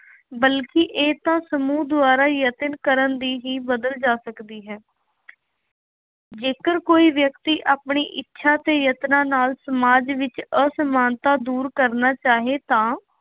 ਬਲਕਿ ਇਹ ਤਾਂ ਸਮੂਹ ਦੁਆਰਾ ਯਤਨ ਕਰਨ ਦੀ ਹੀ ਬਦਲ ਜਾ ਸਕਦੀ ਹੈ ਜੇਕਰ ਕੋਈ ਵਿਅਕਤੀ ਆਪਣੀ ਇੱਛਾ ਤੇ ਚੇਤਨਾ ਨਾਲ ਸਮਾਜ ਵਿੱਚ ਅਸਮਾਨਤਾ ਦੂਰ ਕਰਨਾ ਚਾਹੇ ਤਾਂ